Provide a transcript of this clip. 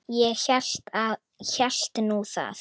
Ég hélt nú það.